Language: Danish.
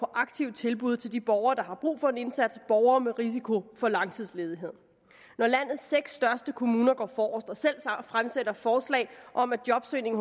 aktive tilbud til de borgere der har brug for en indsats borgere med risiko for langtidsledighed når landets seks største kommuner går forrest og selv fremsætter forslag om at jobsøgning